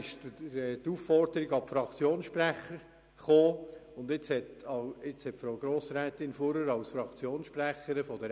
Die Aufforderung an die Fraktionssprecher hat Grossrätin Fuhrer-Wyss ebenfalls dazu bewegt, die Position der SP-JUSO-PSA-Fraktion kurz darzulegen.